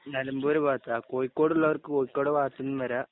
നിലമ്പൂര് ഭാഗത്താ കോഴിക്കോടുഭാഗത്തുള്ളവർക്ക് കോഴിക്കോടെന്നും വരം